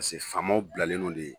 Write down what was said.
faamaw bilalen lo le.